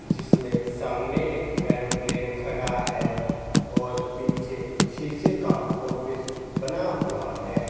जिसमें सामने एक एयरोप्लेन खड़ा है और पीछे शीशे का ऑफिस बना हुआ है।